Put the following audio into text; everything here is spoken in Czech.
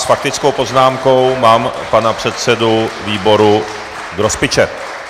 S faktickou poznámkou mám pana předsedu výboru Grospiče.